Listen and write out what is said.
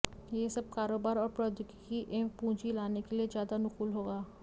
ये सब कारोबार और प्रौद्योगिकी एवं पूंजी लाने के लिए ज्यादा अनुकूल होगा